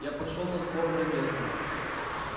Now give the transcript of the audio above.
я пошёл на сборное место